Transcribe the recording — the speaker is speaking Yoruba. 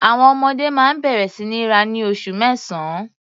Àwọn ọmọdé máa ń bẹ̀rẹ̀ sí ní rá ní oṣù mẹ́sàn-án.